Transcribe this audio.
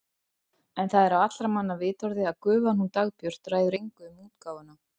En það er á allra manna vitorði að gufan hún Dagbjört ræður engu um útgáfuna.